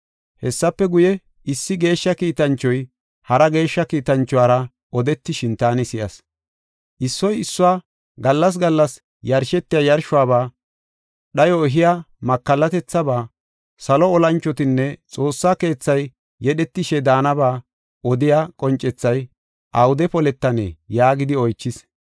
Hessafe guye, issi geeshsha kiitanchoy, hara geeshsha kiitanchuwara odetishin taani si7as. Issoy issuwa, “Gallas gallas yarshetiya yarshuwaba, dhayo ehiya makallatethaba, salo olanchotinne xoossa keethay yedhetishe daanaba odiya, qoncethay awude poletanee?” yaagidi oychis.